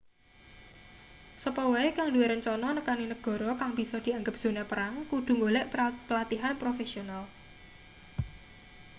sapa wae kang duwe rencana nekani negara kang bisa dianggep zona perang kudu golek pelatihan profesional